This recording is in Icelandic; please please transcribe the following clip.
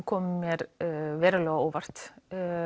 kom mér verulega á óvart